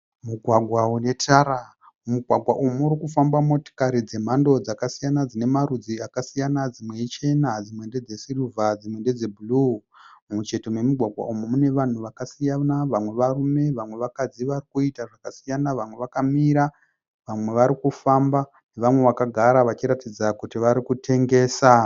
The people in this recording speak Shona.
Mugwagwa une tara. Mumugwagwa umu murikufamba motikari dzemhando dzakasiyana dzine marudzi akasiyana dzimwe i chena, dzimwe ndedze sirivha dzimwe ndedze bhuruu. Mumucheto memugwagwa umu mune vanhu vakasiyana, vamwe varume vamwe vakadzi varikuita zvakasiyana ,vamwe vakamira vanwe varikufamba nevamwe vakagara vachiratidza kuti varikutengesa.